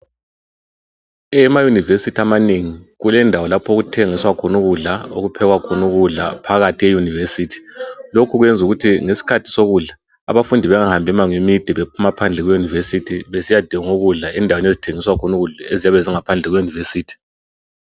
Emayunivesithi amanengi kulendawo lapho okuthengiswa khona ukudla, okuphekwa khona ukudla phakathi e yunivesithi lokhu zwenzukuthi ngesikhathi sokudla abafundi bengahambi mango emide bephuma phandle kwe yunivesity besiyadinga ukudla endaweni ezithengisa ukudla eziyabe zingaphandle kwe yunuvesithi.